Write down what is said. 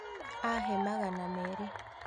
Ahe magana merĩ